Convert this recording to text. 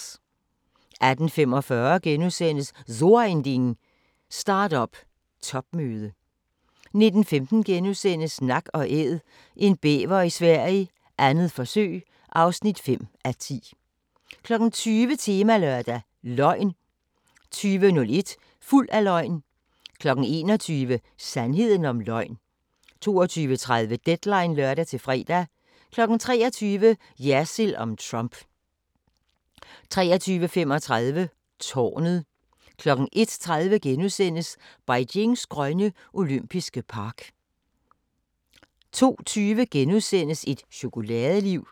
18:45: So Ein Ding: Start-up topmøde * 19:15: Nak & Æd – en bæver i Sverige, 2. forsøg (5:10)* 20:00: Temalørdag: Løgn 20:01: Fuld af løgn 21:00: Sandheden om løgn 22:30: Deadline (lør-fre) 23:00: Jersild om Trump 23:35: Tårnet 01:30: Beijings grønne olympiske park * 02:20: Et chokoladeliv *